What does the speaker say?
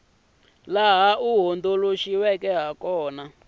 laha wu hundzuluxiweke hi kona